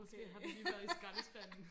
måske har den lige været i skraldespanden